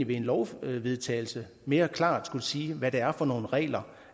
ved en lovvedtagelse mere klart skulle sige hvad det er for nogle regler